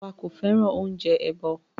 Bàbá wa kò fẹ́ràn oúnjẹ èèbó.